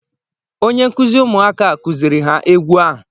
onye nkuzi ụmụaka a kuziri ha egwu ahụ